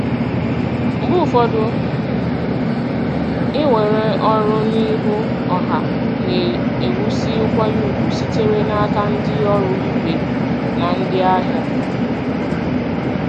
Mgbe ụfọdụ iwere ọrụ n'ihu ọha na-ewusi nkwanye ùgwù sitere n'aka ndị ọrụ ibe na ndị ahịa.